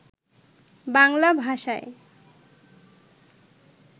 বাংলা ভাষায়